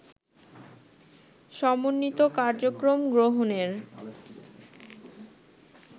সমন্বিত কার্যক্রম গ্রহণের